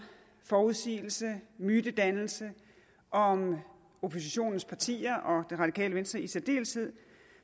forudsigelse og mytedannelse om oppositionens partier og det radikale venstre i særdeleshed